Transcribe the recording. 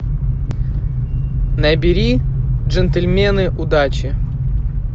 набери джентльмены удачи